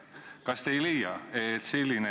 Kas te ei leia, et selline ...